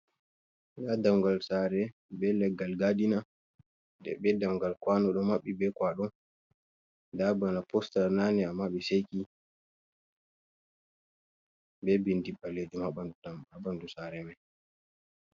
Nda dammugal tsare be leggal gadina je be dammugal kwano ɗo maɓɓi be kwaɗo nda bana postar nane ama be seki be bindi ɓalejum ha ɓandu sare mai.